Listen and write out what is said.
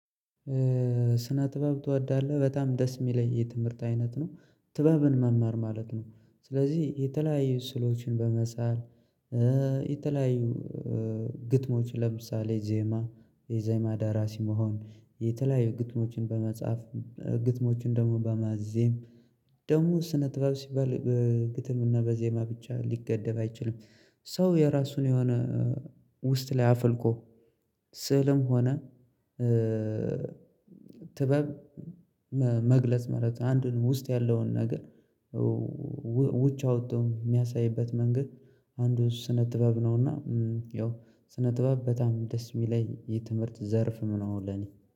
ስነ ጥበብ ትወዳለህ? በጣም ደስ የሚለኝ የትምህርት አይነት ነው ጥበብን መማር ማለት ነው። ስለዚህ የተለያዩ ስሎችን በመሳል የተለያዩ ግጥሞች ለምሳሌ ዜማ የዜማ ደራሲ መሆን የተለያዩ ግጥሞችን በመጻፍ ግጥሞችን ደግሞ በማዜም ደግሞ ስነ ጥበብ ሲባል በግጥም እና በዜማ ብቻ ሊገደብ አይችልም። ሰው የራሱን የሆነ ውስጥ ላይ አፍልቆ ስዕልም ሆነ ጥበብ መግለጽ ማለት አንዱን ውስጥ ያለውን ነገር ውጭ አውጥቶ የሚያሳይበት መንገድ። አንዱን ስነ ጥበብ ነውና። ያው ስነ ጥበብ በጣም ደስ የሚለይ የትምህርት ዘርፍ ምን አሁን ለኔ